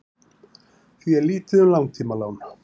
því er lítið um langtímalán